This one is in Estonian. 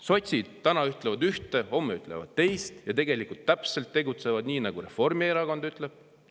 Sotsid ütlevad täna ühte, homme ütlevad teist, ja tegutsevad tegelikult täpselt nii, nagu Reformierakond ütleb.